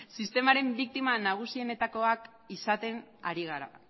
sistemaren biktima nagusietakoak izaten ari gara